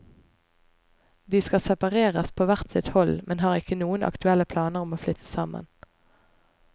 De skal separeres på hvert sitt hold, men har ikke noen aktuelle planer om å flytte sammen.